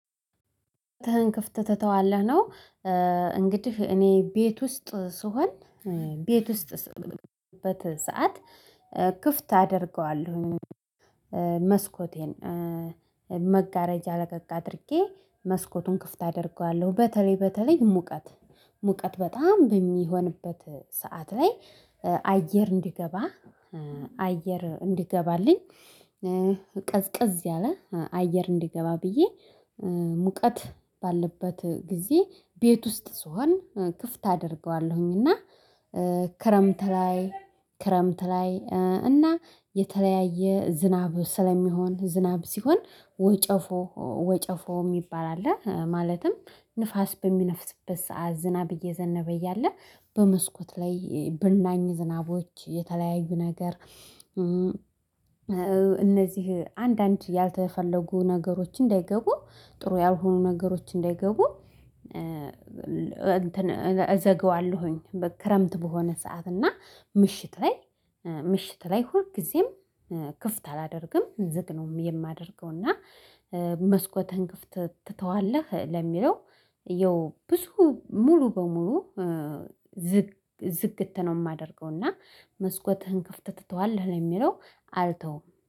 ተን ክፍት ትተዋለህ ነው። እንግዲህ እኔ ቤት ውስጥ ስሆን ቤት ውስጥ ስምንት ሰዓት ክፍት አደርገዋለሁ። መስኮቴን መጋረጃ ለቀቅ አድርጌ መስኮቱን ክፍት አደርገዋለሁ በተለይ በተለይ ሙቀት ሙቀት በጣም በሚሆንበት ሰዓት ላይ አየር እንዲገባ አየር እንዲገባልኝ ቀዝቀዝ ያለ አየር እንዲገባ ብዬ ሙቀት ባለበት ጊዜ ቤት ውስጥ ስሆን ክፍት አደርገዋለሁኝና። ክረምት ላይ ክረምት ላይ እና የተለያየ ዝናብ ስለሚሆን ዝናብ ሲሆን ወጨፎ ወጨፎ የሚባል አለ ማለትም ንፋስ በሚነፍስበት ሰዓት ዝናብ እየዘነበ እያለ በመስኮት ላይ በናኝ ዝናቦች የተለያዩ ነገር። እነዚህ አንዳንድ ያልተፈለጉ ነገሮች እንዳይገቡ ጥሩ ያልሆኑ ነገሮች እንዳይገቡ እዘገዋለሁኝ። በክረምት በሆነ ሰዓት እና ምሽት ላይ ምሽት ላይ ሁልጊዜም ክፍት አላደርግም ዝግ ነው የማደርገው እና። መስኮትህን ክፍት ትተዋለህ ለሚለው የብዙ ሙሉ በሙሉ ዝግ ዝግት ነው የማደርገው። እና መስኮትህን ከፍተህ ትተዋለህ የሚለው አልተውም።